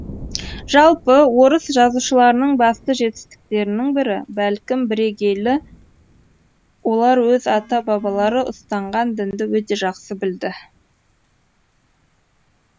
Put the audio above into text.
жалпы орыс жазушыларының басты жетістіктерінің бірі бәлкім бірегейі олар өз ата бабалары ұстанған дінді өте жақсы білді